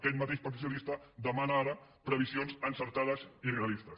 aquest mateix partit socialista demana ara previsions encertades i realistes